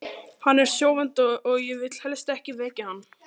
Hann er sofandi og ég vil helst ekki vekja hann.